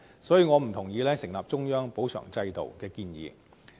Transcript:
所以，我不贊同成立中央補償制度的建議。